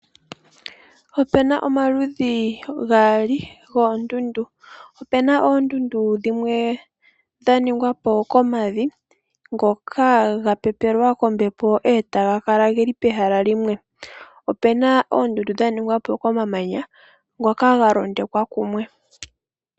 Ope na omaludhi gaali goondundu. Ope ma oondundu dhimwe dha ningwa po komavi ngoka ga pepelwa kombepo, e taga kala geli pehala limwe. Ope na oondundu dha ningwa po komamanya ngoka ga londekwa kumwe.